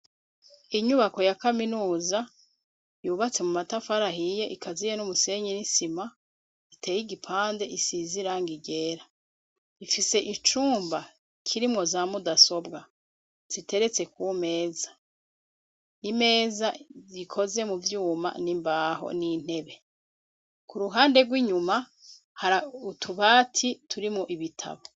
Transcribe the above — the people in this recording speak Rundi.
Inyubako ya kaminuza yubatse mu matafari ahiye ikaziye n'umusenyi n'isima iteye igipande isize irangi ryera, ifise icumba kirimwo za mudasobwa ziteretse kumeza, imeza ikoze mu vyuma n'imbaho n'intebe, ku ruhande rw'inyuma hari utubati turimwo ibitabo.